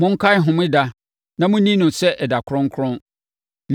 Monkae homeda na monni no sɛ ɛda kronkron.